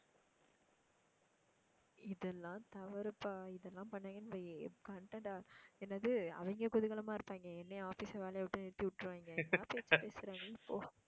இதெல்லாம் தவறுப்பா இதெல்லாம் பண்ணாங்கன்னு வை content ஆ என்னது அவங்க குதூகலமா இருப்பாங்க என்னைய office ல வேலையை விட்டு நிறுத்தி விட்டுருவாங்க.